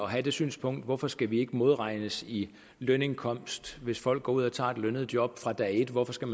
have det synspunkt hvorfor skal vi ikke modregnes i lønindkomst hvis folk går ud og tager et lønnet job fra dag et hvorfor skal